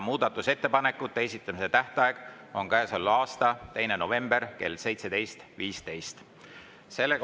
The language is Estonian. Muudatusettepanekute esitamise tähtaeg on käesoleva aasta 2. november kell 17.15.